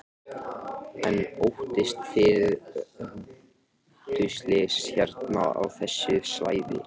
Magnús Hlynur: En óttist þið rútuslys hérna á þessu svæði?